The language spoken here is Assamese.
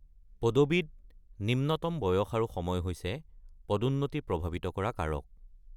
পদবীত নিম্নতম বয়স আৰু সময় হৈছে পদোন্নতি প্ৰভাৱিত কৰা কাৰক।